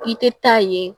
I tɛ taa ye